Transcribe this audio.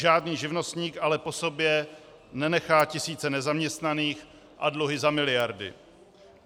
Žádný živnostník ale po sobě nenechá tisíce nezaměstnaných a dluhy za miliardy.